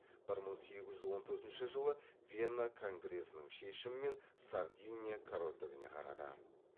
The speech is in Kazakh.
бір мың сегіз жүз он төртінші жылы вена конгресінің шешімімен сардиния корольдігіне қарады